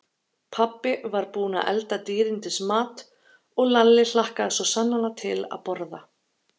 Pabbi var búinn að elda dýrindis mat og Lalli hlakkaði svo sannarlega til að borða.